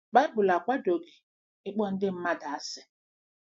Baịbụl akwadoghị ịkpọ ndị mmadụ asị.